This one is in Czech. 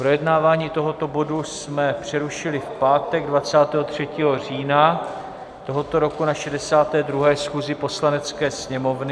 Projednávání tohoto bodu jsme přerušili v pátek 23. října tohoto roku na 62. schůzi Poslanecké sněmovny.